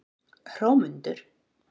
Hrómundur